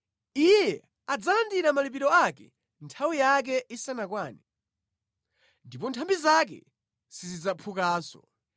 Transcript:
Iye adzalandira malipiro ake nthawi yake isanakwane, ndipo nthambi zake sizidzaphukanso.